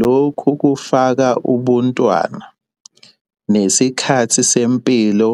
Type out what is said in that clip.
Lokhu kufaka ubuntwana, nesikhathi sempilo